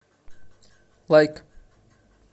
лайк